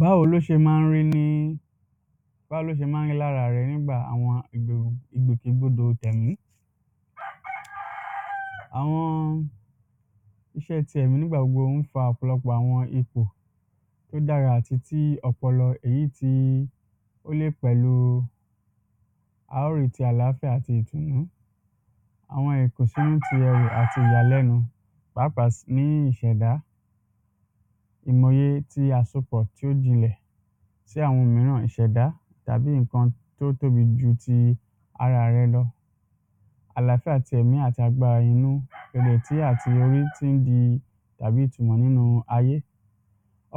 Báwo ló ṣe máa ń rí ní, báwo lo ṣe máa ń rí lára rẹ nígbà àwọn ìgbò, ìgbòkè gbodò tẹ̀mí, àwọn iṣẹ́ ti ẹ̀mí nígbà gbogbo ń fa ọ̀pọ̀lọpọ̀ àwọn ipò tó dára àti tí ọpọlọ èyí tí ó le pẹ̀lú, a ó rí tí àláfíà àti ìtùnú àwọn ìkùnsínú ti ayọ̀ àti ìyàlẹ́nu, pàápàá um ní ìṣẹ̀dá, ìmòye ti àsopọ̀ tí ó jinlẹ̀ tí àwọn mìíràn ìṣẹ̀dá tàbí nǹkan tó tóbi ju ti ara rẹ lọ, àláfíà ti ẹ̀mí àti agbára inú, ìrètí àti orí tí ń di tàbí ìtumọ̀ nínú ayé.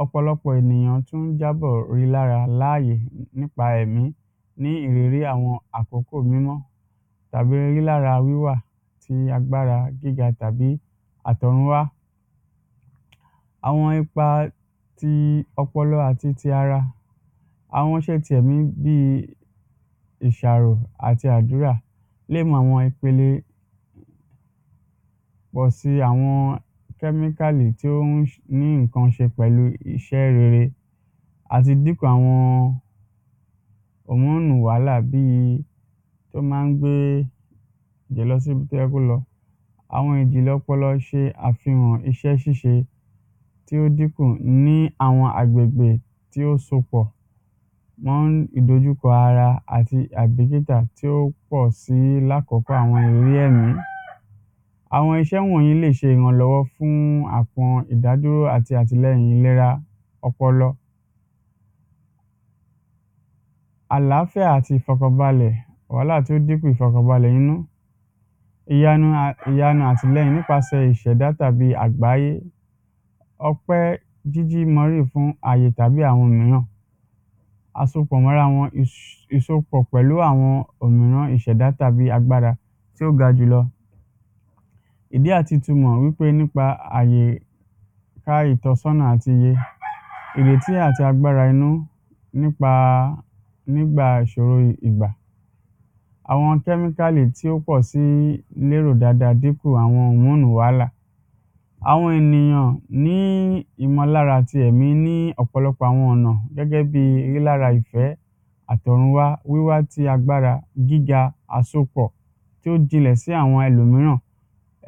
Ọ̀pọ̀lọpọ̀ ènìyàn tún ń jábọ̀ ri lára láàyè, nípa ẹ̀mí, ní ìrírí àwọn àkọ́kọ̀ mímọ́ tàbí rí lára wíwà ti agbára gíga tàbí àtọ̀runwá. Àwọn ipa ti ọpọlọ àti ti ara, àwọn iṣẹ́ ti ẹ̀mí bí i ìṣàrò àti àdúrà lè mú àwọn ipele pọ̀ si àwọn èyị tí ó ń ní nǹkan ṣe pẹ̀lú iṣẹ́ rere, àti dípò àwọn wàhálà bí i tó máa ń gbe lọ sí ibi tó yẹ kó lọ. Àwọn ìjìnlẹ̀ ọpọlọ ṣe àfihàn iṣẹ́ ṣíṣe tí ó dínkùn ní àwọn agbègbè tí ó sopọ̀ mọ́ ìdojúkọ ara àti tí ó pó si lákọ́kọ́ àwọn ìriri ẹ̀mí. Àwọn iṣẹ́ wọ̀nyí lè ṣe ìrànlọ́wọ́ fún àwọn ìdádúró àti àtìlẹ́yìn ìlera ọpọlọ. Àláfíà àti ìfọ̀kànbalẹ̀, wàhálà tí ó dínkù ìfọ̀kànbalẹ̀ inú ìyanu um àtìlẹyìn nípasẹ̀ ìṣẹ̀dà tàbí àgbáyé. Ọpẹ́ jíjí fún aye tàbí àwọn mìíràn, àsopọ̀ mọ́ra wọn, ìsopọ̀ pẹ̀lú àwọn òmìrán ìṣẹ̀dá tàbí agbára tí ó gà jù lọ. Ìdí àti ìtumọ̀ wípé nípa àyíká ìtọ́sọ́nà àti ìrètí àti agbára inú nípa nígbà ìṣoro ìgbà, àwọn tí ó pọ̀ si lérò dada dípò wàhálà, àwọn ènìyàn ní ìmọ̀lára àti ẹ̀mí ní ọ̀pọ̀lọpọ̀ àwọn ọ̀nà gẹ́gẹ́ bí rí lára ìfẹ́ àtọ̀runwá wíwa tí agbára gíga àsopọ̀ tí ó jinlẹ̀ sí àwọn ẹlòmíràn,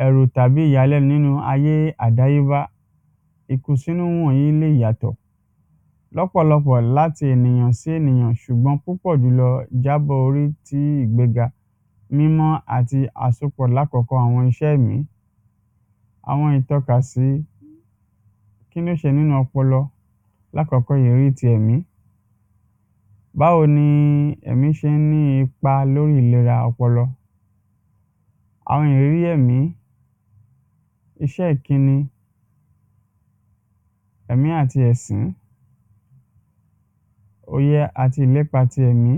ẹ̀rù tàbí ìyàlẹ́nu nínú ayé àdáyébá ìkùnsínú wọ̀nyí lè yàtọ̀, lọ́pọ̀lọpọ̀ láti ènìyàn sí ènìyàn, ṣùgbọ́n púpọ̀ jùlọ jábọ orí tí ìgbéga mímọ́ àti àsopọ̀ lákọ́kọ́ àwọn iṣẹ́ ẹ̀mí, àwọn ìtọ́kasí kíni ó ṣe nínú ọpọlọ. Lákọ́kọ́ ìrírí ti ẹ̀mí, báwo ní ẹ̀mí ṣe ń ní ipa lóri ìlera ọpọlọ, àwọn ìrírí ẹ̀mí, iṣẹ́ ìkíni, ẹ̀mí àti ẹ̀sín, òye àti ìlépa tí ẹ̀mí,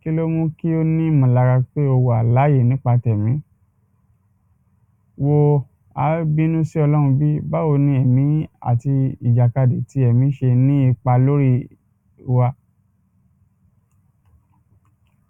kí ló mú kí ó ní ìmọ̀lára pé o wà láàyè nípa tẹ̀mí, wo á bínú sí ọlọ́run bí, báwo ni ẹ̀mí àti ìjàkadì ti ẹ̀mí ṣe ní ipa lórí wa